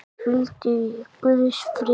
Hvíldu í Guðs friði.